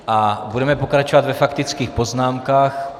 A budeme pokračovat ve faktických poznámkách.